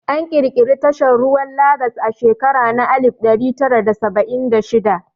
An ƙirƙiri tashar ruwa Lagas a shekara na alif ɗari tara da saba'in da shida